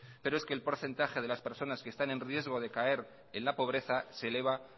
pero es que el porcentaje de las personas que están en riesgo de caer en la pobreza se eleva